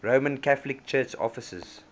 roman catholic church offices